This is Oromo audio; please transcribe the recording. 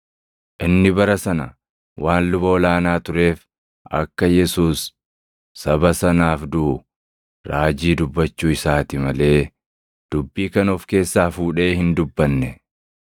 Inni bara sana waan luba ol aanaa tureef, akka Yesuus saba sanaaf duʼu raajii dubbachuu isaati malee dubbii kana of keessaa fuudhee hin dubbanne;